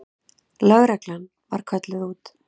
Lögreglan var kölluð út.